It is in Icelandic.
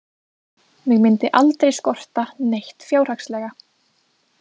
Mig myndi aldrei skorta neitt fjárhagslega.